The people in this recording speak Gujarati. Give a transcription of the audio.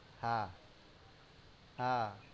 હા હા